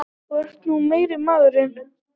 Þú ert nú meiri maðurinn!